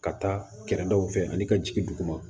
Ka taa kɛrɛdaw fɛ ani ka jigin dugu ma